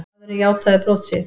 Maðurinn játaði brot sitt.